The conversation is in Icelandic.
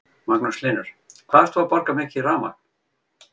Magnús Hlynur: Hvað ert þú að borga mikið í rafmagn?